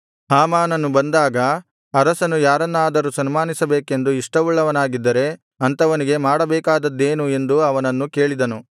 ಹಾಮಾನನು ಬಂದಾಗ ಅರಸನು ಯಾರನ್ನಾದರು ಸನ್ಮಾನಿಸಬೇಕೆಂದು ಇಷ್ಟವುಳ್ಳವನಾಗಿದ್ದರೆ ಅಂಥವನಿಗೆ ಮಾಡಬೇಕಾದದ್ದೇನು ಎಂದು ಅವನನ್ನು ಕೇಳಿದನು